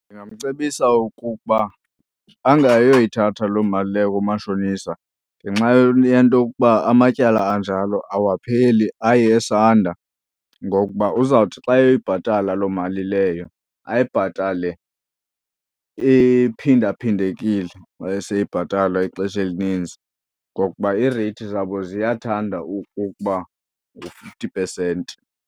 Ndingamcebisa ukukuba angayoyithatha loo mali leyo kumashonisa ngenxa yento yokuba amatyala anjalo awapheli, aye esanda. Ngokuba uzawuthi xa eyibhatala lo mali leyo ayibhatale iphindaphindekile maseyeyibhatala ixesha elininzi, ngokuba iireyithi zabo ziyathanda ukukuba ngu-fifty pesenti.